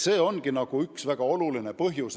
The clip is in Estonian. See ongi üks väga oluline põhjus.